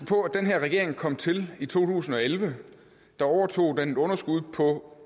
på at den her regering kom til i to tusind og elleve der overtog den et underskud på